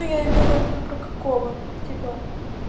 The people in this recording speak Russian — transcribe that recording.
но я имела в виду про какого типа